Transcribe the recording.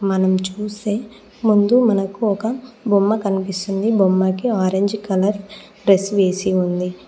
మనం చూసే ముందు మనకు ఒక బొమ్మ కనిపిస్తుంది బొమ్మకి ఆరెంజ్ కలర్ డ్రెస్ వేసి ఉంది.